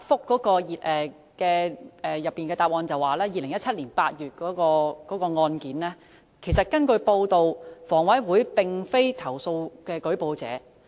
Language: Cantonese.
局長在主體答覆提及2017年8月的案件，但根據報道，房委會並非舉報者。